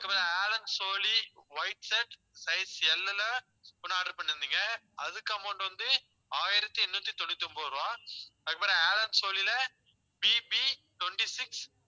அதுக்கப்புறம் allen solly white shirt size L ல, ஒண்ணு order பண்ணியிருந்தீங்க. அதுக்கு amount வந்து, ஆயிரத்தி எண்ணூத்தி தொண்ணூத்தி ஒன்பது ரூபாய் அதுக்கப்புறம் allen solly ல PPtwenty six